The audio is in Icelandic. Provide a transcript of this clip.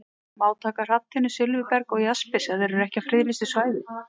Má taka hrafntinnu, silfurberg og jaspis ef þeir eru ekki á friðlýstu svæði?